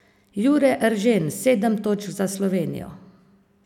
Jure Eržen sedem točk za Slovenijo.